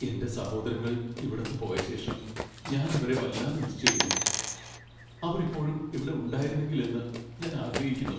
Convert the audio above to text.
എന്റെ സഹോദരങ്ങൾ ഇവിടന്നു പോയ ശേഷം ഞാൻ അവരെ വല്ലാതെ മിസ് ചെയ്യുന്നു. അവർ ഇപ്പോഴും ഇവിടെ ഉണ്ടായിരുന്നെങ്കിൽ എന്ന് ഞാൻ ആഗ്രഹിക്കുന്നു.